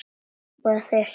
Og þeir sóttu mig.